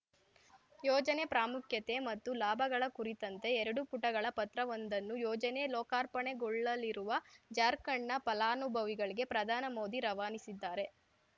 ಯೋಜನೆ ಪ್ರಾಮುಖ್ಯತೆ ಮತ್ತು ಲಾಭಗಳ ಕುರಿತಂತೆ ಎರಡು ಪುಟಗಳ ಪತ್ರವೊಂದನ್ನು ಯೋಜನೆ ಲೋಕಾರ್ಪಣೆಗೊಳ್ಳಲಿರುವ ಜಾರ್ಖಂಡ್‌ನ ಫಲಾನುಭವಿಗಳಿಗೆ ಪ್ರಧಾನ ಮೋದಿ ರವಾನಿಸಿದ್ದಾರೆ